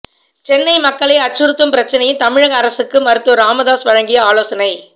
சென்னை மக்களை அச்சுறுத்தும் பிரச்சனையில் தமிழக அரசுக்கு மருத்துவர் ராமதாஸ் வழங்கிய ஆலோசனை